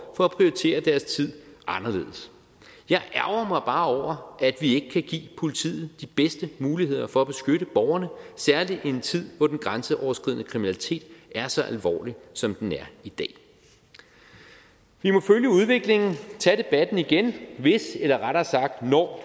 for at prioritere deres tid anderledes jeg ærgrer mig bare over at vi ikke kan give politiet de bedste muligheder for at beskytte borgerne særlig i en tid hvor den grænseoverskridende kriminalitet er så alvorlig som den er i dag vi må følge udviklingen tage debatten igen hvis eller rettere sagt når